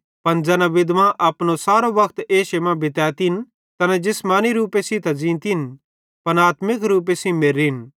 पन ज़ैना विधवां अपनो सारो वक्त एशे मां बितैतिन तैना जिसमानी रूपे सेइं त ज़ींतिन पन आत्मिक रूपे सेइं मेर्रीन